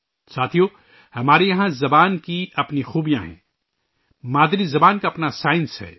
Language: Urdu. ساتھیو، ہمارے یہاں زبان کی اپنی خوبیاں ہیں، مادری زبان کی اپنی سائنس ہے